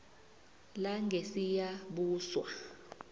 langesiyabuswa